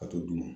Ka to d'u ma